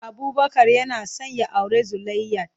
Abubakar yana son ya auri Zulaihat.